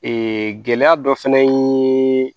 Ee gɛlɛya dɔ fɛnɛ ye